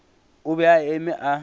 o be a eme a